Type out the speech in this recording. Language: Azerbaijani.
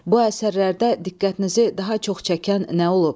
Bu əsərlərdə diqqətinizi daha çox çəkən nə olub?